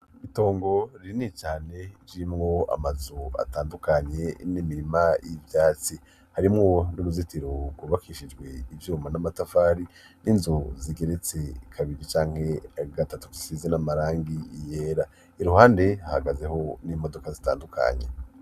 Itongo ririni cane, ririmwo amazu atandukanye, n'imirima y'ivyatsi; harimwo n'uruzitiro rwubakishijwe ivyuma n'amatafari, n'inzu zigeretse kabiri canke gatatu zisize n'amarangi yera, iruhande hahagazeho n'imodoka zitandukanye.